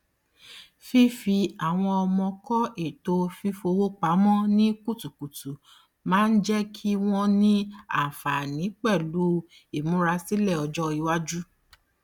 fífi àwọn ọmọ kọ ètò fífowó pamọ ní kutukutu máa ń jẹ kí wọn ní àǹfààní pẹlú ìmúrasílẹ ọjọ iwájú